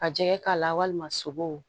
Ka jɛgɛ k'a la walima sogo